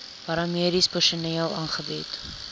paramediese personeel aangebied